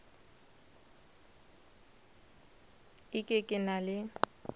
e ke ke na le